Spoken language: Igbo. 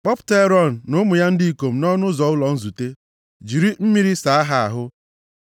Kpọpụta Erọn na ụmụ ya ndị ikom nʼọnụ ụzọ ụlọ nzute, jiri mmiri saa ha ahụ.